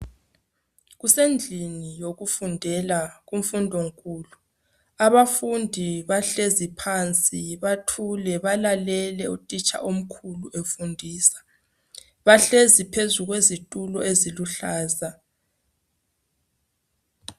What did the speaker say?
Kusendlini yokufundela kumfundo nkulu abafundi bahlezi phansi bathule balalele utitsha omkhulu efundisa bahlezi phezu kwesitulo eziluhlaza.